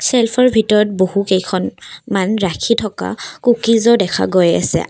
ছেলফৰ ভিতৰত বহু কেইখনমান ৰাখি থকা কোকিজো দেখা গৈ আছে।